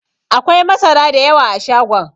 Akwai masara da yawa a shagon.